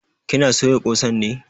Ki na soya ƙosan ne?